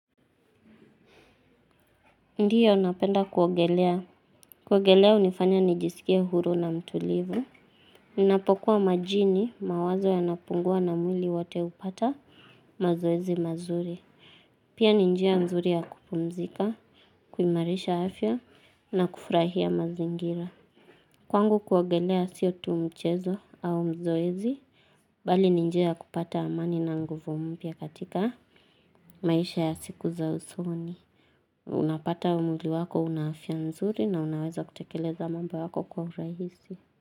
Ndiyo napenda kuogelea. Kuogelea hunifanya nijisikie huru na mtulivu. Ninapokuwa majini mawazo yanapungua na mwili wote hupata mazoezi mazuri. Pia ni njia nzuri ya kupumzika, kuimarisha afya na kufurahia mazingira. Kwangu kuogelea sio tu mchezo au mazoezi. Bali ni njia ya kupata amani na nguvu mpya katika maisha ya siku za usoni. Unapata mwili wako una afya nzuri na unaweza kutekeleza mambo yako kwa urahisi.